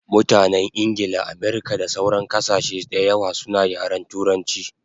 Mutanen Ingla, Amirka da sauran kasashe dayawa suna yaren turanchi